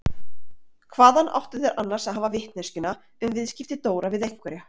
Hvaðan áttu þeir annars að hafa vitneskjuna um viðskipti Dóra við einhverja?